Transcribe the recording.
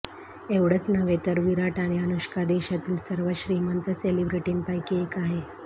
एव्हढंच नव्हे तर विराट आणि अनुष्का देशातील सर्वात श्रीमंत सेलिब्रेटींपैकी एक आहे